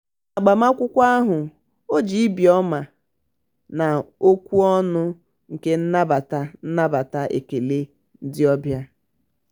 n'agbamakwụkwọ ahụ ọ ji ibi ọma na okwu ọnụ nke nnabata nnabata ekele ndị obịa.